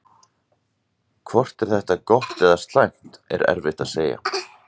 Hvort þetta er gott eða slæmt er erfitt að segja.